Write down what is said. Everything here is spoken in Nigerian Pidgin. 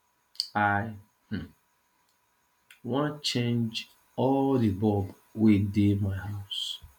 i um wan change all the bulb wey dey my house